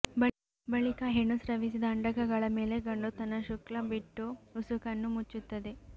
ಬಳಿಕ ಹೆಣ್ಣು ಸ್ರವಿಸಿದ ಅಂಡಕಗಳ ಮೇಲೆ ಗಂಡು ತನ್ನ ಶುಕ್ಲ ಬಿಟ್ಟು ಉಸುಕನ್ನು ಮುಚ್ಚುತ್ತದೆ